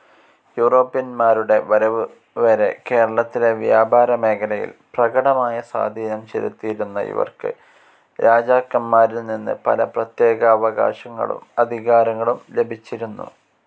യൂറോപ്യന്മാരുടെ വരവ് വരെ കേരളത്തിലെ വ്യാപാരമേഖലയിൽ പ്രകടമായ സ്വാധീനം ചെലുത്തിയിരുന്ന ഇവർക്ക് രാജാക്കന്മാരിൽ നിന്ന് പല പ്രത്യേകാവകാശങ്ങളും അധികാരങ്ങളും ലഭിച്ചിരുന്നു.